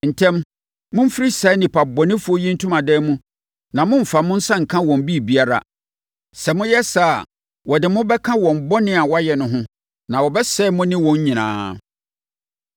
“Ntɛm, momfiri saa nnipabɔnefoɔ yi ntomadan mu na mommfa mo nsa nka wɔn biribiara. Sɛ moyɛ saa a, wɔde mo bɛka wɔn bɔne a wɔayɛ no ho na wɔbɛsɛe mo ne wɔn nyinaa.”